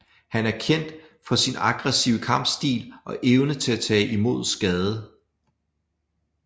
Han er kendt for sin aggressive kampstil og evne til at tage imod skade